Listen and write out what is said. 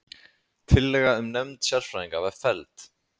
Tillaga um nefnd sérfræðinga var felld